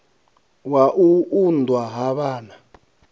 wa u unḓwa ha vhana